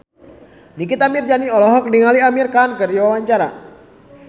Nikita Mirzani olohok ningali Amir Khan keur diwawancara